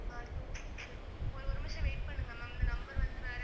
ஆஹ் two, six ஒரு ஒரு நிமிஷம் wait பண்ணுங்க ma'am இந்த number வந்து வேற